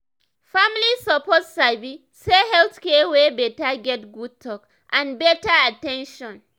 family suppose sabi say health care wey beta get good talk and better at ten tion.